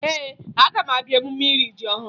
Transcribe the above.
Ee, aga m abịa emume iri ji ọhụrụ